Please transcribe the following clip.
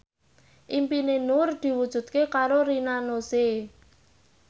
impine Nur diwujudke karo Rina Nose